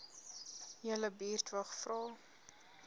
julle buurtwag vra